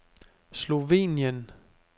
Slovenien